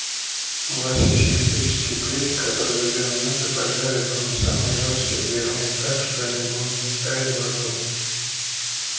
у вас есть электрические плиты которые за две минуты поджарят вам самые жёсткие отбивные так что они будут таять во рту